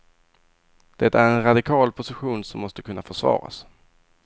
Det är en radikal position som måste kunna försvaras.